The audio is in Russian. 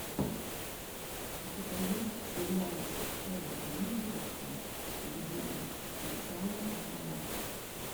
у тебя есть сериальчик пола гринграсса люди икс начало росомаха